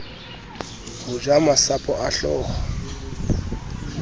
ho ja masapo a hlooho